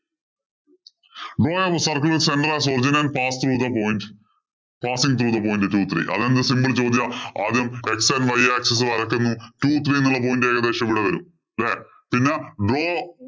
Draw the circle of center as an original path of the point. pathing the point two, three അതെന്ത് simple ചോദ്യാ. ആദ്യം x and y axis വരയ്ക്കുന്നു. Two, three എന്നുള്ള point ഏകദേശം ഇവിടെ വരും. അല്ലേ.